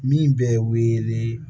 Min bɛ wele ni